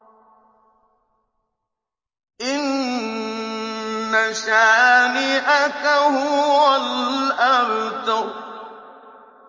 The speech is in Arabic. إِنَّ شَانِئَكَ هُوَ الْأَبْتَرُ